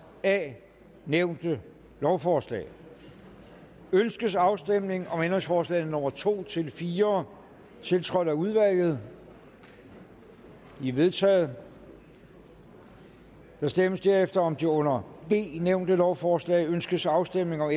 a nævnte lovforslag ønskes afstemning om ændringsforslagene nummer to fire tiltrådt af udvalget de er vedtaget der stemmes herefter om det under b nævnte lovforslag ønskes afstemning om